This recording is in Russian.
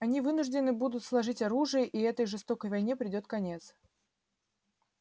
они вынуждены будут сложить оружие и этой жестокой войне придёт конец